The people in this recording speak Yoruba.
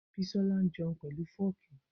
Bisọlà jẹun pẹlu fọ́kì.